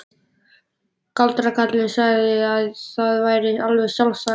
Galdrakarlinn sagði að það væri alveg sjálfsagt.